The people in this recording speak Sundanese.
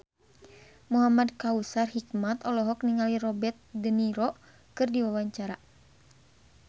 Muhamad Kautsar Hikmat olohok ningali Robert de Niro keur diwawancara